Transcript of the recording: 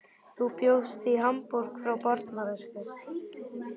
Þú bjóst í Hamborg frá barnæsku.